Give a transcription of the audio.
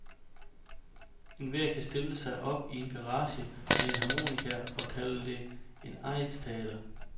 Enhver kan stille sig op i en garage med en harmonika og kalde det et egnsteater.